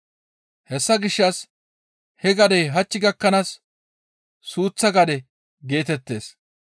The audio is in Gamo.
Hessa gishshas he gadey hach gakkanaas suuththa gade geetettees.